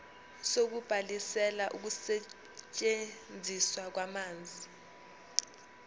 sokubhalisela ukusetshenziswa kwamanzi